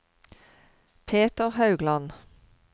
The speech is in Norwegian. Peter Haugland